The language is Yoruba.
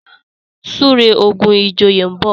súré ogun ìjòyè nbọ